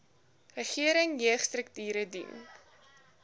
regering jeugstrukture dien